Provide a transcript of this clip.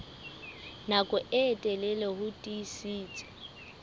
nako e telele ho tiisitse